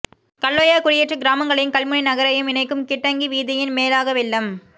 கல்லோயா குடியேற்ற கிராமங்களையும் கல்முனை நகரையும் இணைக்கும் கிட்டங்கி வீதியின் மேலாக வெள்ளம்